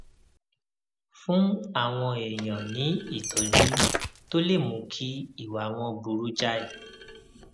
fún àwọn èèyàn ní ìtójú tó lè mú kí ìwà wọn burú jáì